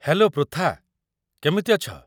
Hello, Pritha. କେମିତି ଅଛ?